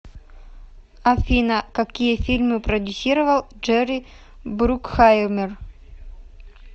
афина какие фильмы продюсировал джерри брукхаимер